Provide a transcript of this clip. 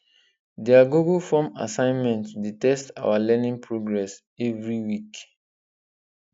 their google form assignment dey test our learning progress every week